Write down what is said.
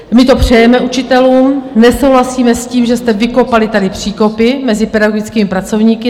My to přejeme učitelům, nesouhlasíme s tím, že jste vykopali tady příkopy mezi pedagogickými pracovníky.